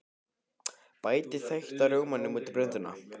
Bætið þeytta rjómanum út í blönduna.